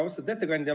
Austatud ettekandja!